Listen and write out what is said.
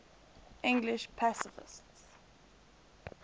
english pacifists